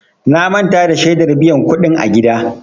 Na manta da shedar biyan kuɗin a gida.